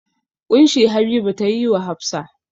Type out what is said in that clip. ƙunshi Habiba ta yi wa Hafsa.